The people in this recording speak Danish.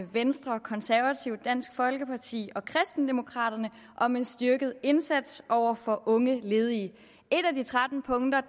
venstre konservative dansk folkeparti og kristendemokraterne om en styrket indsats over for unge ledige et af de tretten punkter